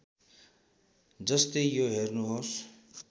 जस्तै यो हेर्नुहोस्